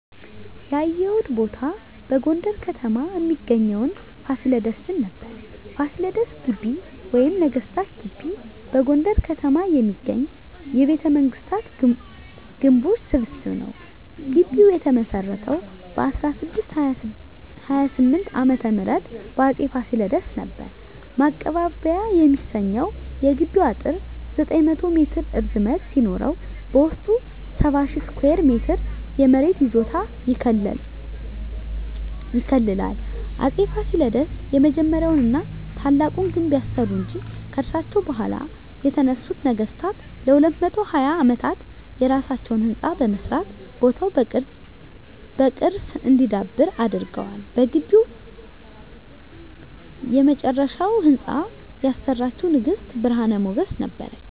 ያየሁት ቦታ በጎንደር ከተማ እሚገኘዉን ፋሲለደስን ነበር። ፋሲለደስ ግቢ ወይም ነገስታት ግቢ በጎንደር ከተማ የሚገኝ የቤተመንግስታት ግምቦች ስብስብ ነዉ። ግቢዉ የተመሰረተዉ በ1628 ዓ.ም በአፄ ፋሲለደስ ነበር። ማቀባበያ የሚሰኘዉ የግቢዉ አጥር 900 ሜትር ርዝመት ሲኖረዉ በዉስጡ 70,000 ስኩየር ሜትር የመሬት ይዞታ ይከልላል። አፄ ፋሲለደስ የመጀመሪያዉን ና ታላቁን ግድብ ያሰሩ እንጂ፣ ከርሳቸዉ በኋላ የተነሱት ነገስታትም ለ220 አመታት የየራሳቸዉን ህንፃ በመስራት ቦታዉ በቅርስ እንዲዳብር አድርገዋል። በግቢዉ የመጨረሻዉን ህንፃ ያሰራችዉ ንግስት ብርሀን ሞገስ ነበረች።